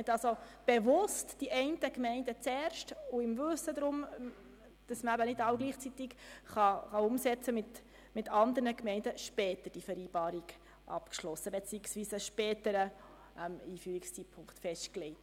Man hat bewusst die einen Gemeinden zuerst unterstützt, im Wissen darum, dass die Umsetzung nicht gleichzeitig stattfinden kann, und hat deshalb mit den anderen Gemeinden die Vereinbarungen später abgeschlossen beziehungsweise einen späteren Einführungszeitpunkt festgelegt.